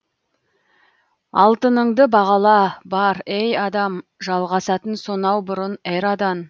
алтыныңды бағала бар ей адам жалғасатын сонау бұрын эрадан